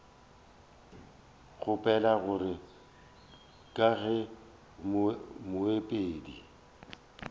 kgopela gore ka ge moemedi